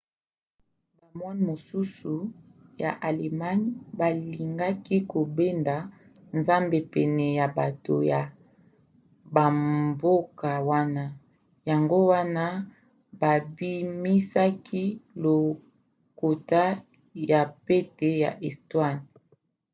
bamoine mosusu ya allemagne balingaki kobenda nzambe pene ya bato ya bamboka wana yango wana babimisaki lokota ya pete ya estonie